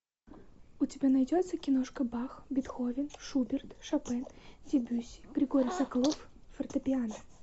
у тебя найдется киношка бах бетховен шуберт шопен дебюсси григорий соколов фортепиано